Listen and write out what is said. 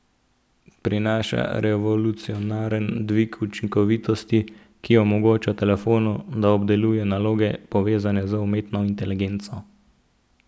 Prinaša revolucionaren dvig učinkovitosti, ki omogoča telefonu, da obdeluje naloge povezane z umetno inteligenco.